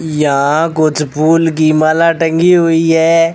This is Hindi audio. यहां कुछ फूल की माला टंगी हुई है।